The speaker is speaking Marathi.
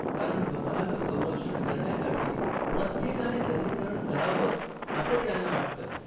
कारण स्वतःचं संरक्षण करण्यासाठी प्रत्येकाने लसीकरण करावं असें त्यांना वाटतं.